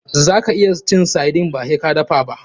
Zaka iya cin sardine ba sai ka dafa ba.